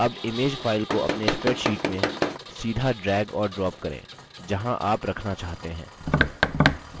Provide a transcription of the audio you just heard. अब image file को अपने spreadsheet में सीधा drag और drop करें जहाँ आप रखना चाहते हैं